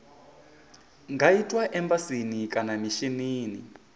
nga itwa embasini kana mishinini